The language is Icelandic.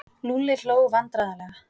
Lúlli hló vandræðalega.